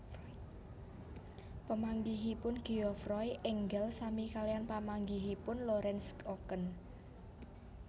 Pamanggihipun Geoffroy enggal sami kaliyan pamanggihipun Lorenz Oken